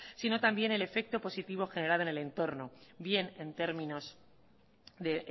sino también el efecto positivo generado en el entorno bien en términos de